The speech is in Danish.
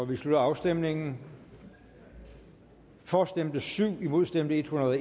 vi slutter afstemningen for stemte syv imod stemte en hundrede og